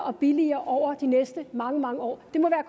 og billigere over de næste mange mange år det må